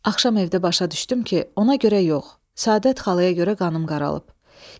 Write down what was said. Axşam evdə başa düşdüm ki, ona görə yox, Səadət xalaya görə qanım qaralıb.